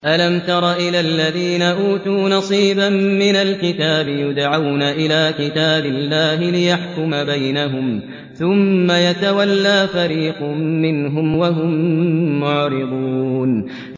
أَلَمْ تَرَ إِلَى الَّذِينَ أُوتُوا نَصِيبًا مِّنَ الْكِتَابِ يُدْعَوْنَ إِلَىٰ كِتَابِ اللَّهِ لِيَحْكُمَ بَيْنَهُمْ ثُمَّ يَتَوَلَّىٰ فَرِيقٌ مِّنْهُمْ وَهُم مُّعْرِضُونَ